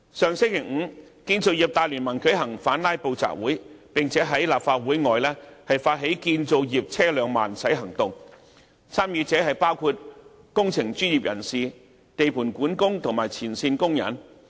上星期五，建造業大聯盟舉行反"拉布"集會，並在立法會外發起"建造業車輛慢駛行動"，參與者包括工程專業人士、地盤管工和前線工人。